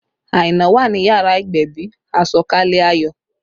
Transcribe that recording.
Aina wà ní yàrá ìgbẹ̀bì, àsọ̀kalẹ̀ ayọ̀